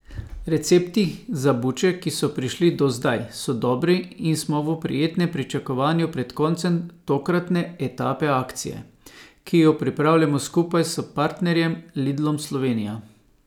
Recepti za buče, ki so prišli do zdaj, so dobri in smo v prijetnem pričakovanju pred koncem tokratne etape akcije, ki jo pripravljamo skupaj s partnerjem Lidlom Slovenija.